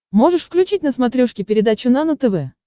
можешь включить на смотрешке передачу нано тв